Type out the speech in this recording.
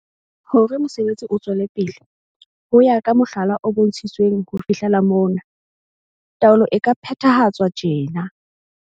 Hore mosebetsi o tswele pele, ho ya ka mohlala o bontshitsweng ho fihlela mona, taolo e ka phethahatswa tjena.